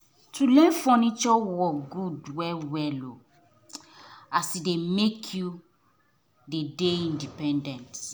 to learn furniture work good well well as e dey make you dey independent